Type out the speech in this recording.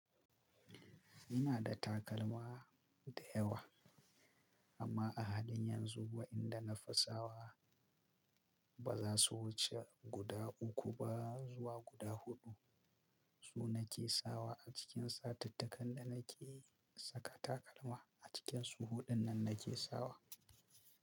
Ina da takalma da yawa amma a halin yanzu inda nafi sawa baza su wuce guda uku zuwa guda hudu. Su nake sawa a cikin satittakan da nake saka takalma. A cikinsu huɗun nan nake sawa.